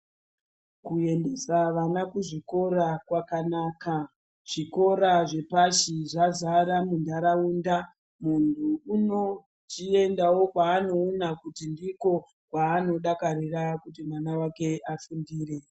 Ku endesa vana ku zvikora kwakanaka chikora zvepashi zvazara mu ndaraunda muntu uno chiendawo kwa anoona kuti ndiko kwaano dakarira kuti mwana wake afundire.